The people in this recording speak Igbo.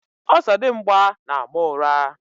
Ọzọdimgba na-ama ụra.